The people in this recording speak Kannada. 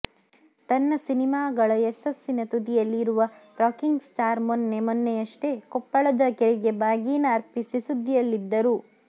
ತನ್ನ ಸಿನಿಮಾಗಳ ಯಸಸ್ಸಿನ ತುದಿಯಲ್ಲಿ ಇರುವ ರಾಕಿಂಗ್ ಸ್ಟಾರ್ ಮೊನ್ನೆ ಮೊನ್ನೆಯಷ್ಟೇ ಕೊಪ್ಪಳದ ಕೆರೆಗೆ ಬಾಗೀನ ಅರ್ಪಿಸಿ ಸುದ್ದಿಯಲ್ಲಿದ್ದರು